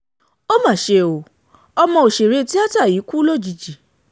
ó mà ṣe ọ́ ọmọ òṣèré tíáta yìí kú lójijì